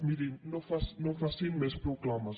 mirin no facin més proclames